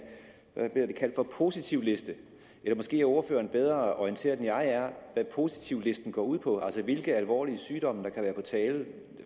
positivliste er eller måske er ordføreren bedre orienteret end jeg er hvad positivlisten går ud på altså hvilke alvorlige sygdomme der kan være tale